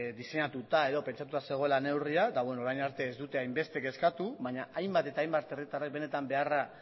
diseinatuta edo pentsatua zegoela neurria orain arte ez dute hainbeste kezkatu baina hainbat eta hainbat herritarrek benetan beharra